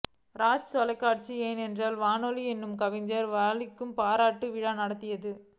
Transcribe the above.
ராஜ் தொலைக்காட்சி என்றென்றும் வாலி என்று கவிஞர் வாலிக்கு பாராட்டு விழா நடத்தியது